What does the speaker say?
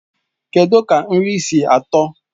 Kedụ ka nri si atọ?